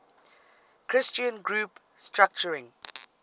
christian group structuring